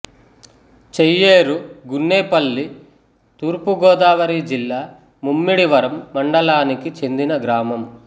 చెయ్యేరు గున్నేపల్లి తూర్పు గోదావరి జిల్లా ముమ్మిడివరం మండలానికి చెందిన గ్రామం